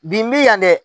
Bi n bɛ yan dɛ